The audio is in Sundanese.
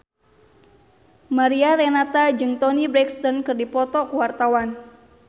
Mariana Renata jeung Toni Brexton keur dipoto ku wartawan